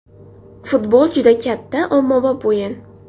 Futbol juda katta, ommabop o‘yin.